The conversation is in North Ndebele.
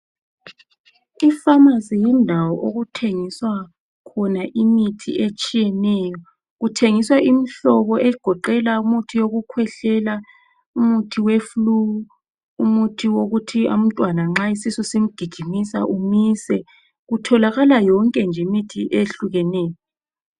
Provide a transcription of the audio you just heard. Ipharmacy yindawo okuthengiswa khona imithi etshiyeneyo. Kuthengiswa imhlobo egoqela umithi yokukhwehlela , umithi we flue, umithi wokuthi nxa umntwana isisu simgijimisa umise. Kutholakala yonke nje imithi eyehlukeneyo.